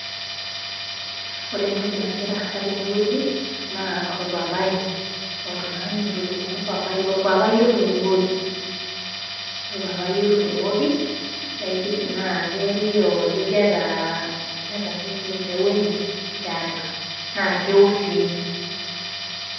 Ore entoki nagiraasa tenewueji naa orpapai. Oltung'ani otudung'o orpapai, orpapai otudung'oki. Orpapai otudung'oki naa keelio ajo ketaa, keeta keji empeu enye tiatua naa keo sii.